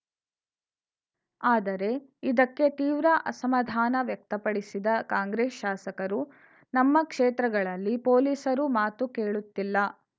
ಆದರೆ ಇದಕ್ಕೆ ತೀವ್ರ ಅಸಮಾಧಾನ ವ್ಯಕ್ತಪಡಿಸಿದ ಕಾಂಗ್ರೆಸ್‌ ಶಾಸಕರು ನಮ್ಮ ಕ್ಷೇತ್ರಗಳಲ್ಲಿ ಪೊಲೀಸರು ಮಾತು ಕೇಳುತ್ತಿಲ್ಲ